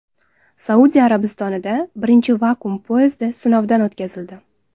Saudiya Arabistonida birinchi vakuum poyezdi sinovdan o‘tkazildi.